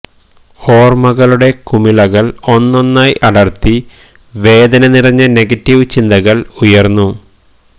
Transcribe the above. ഓർമ്മകളുടെ കുമിളകൾ ഒന്നൊന്നായ് അടർത്തി വേദന നിറഞ്ഞ നെഗറ്റീവ് ചിന്തകൾ ഉയരുന്നു